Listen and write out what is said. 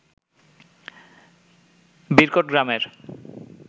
বিরকোট গ্রামের